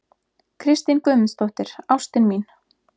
Kristín Guðmundsdóttir, ástin mín!